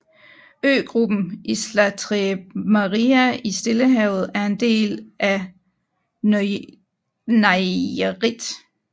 Øgruppen Islas Tres Marias i Stillehavet er en del af Nayarit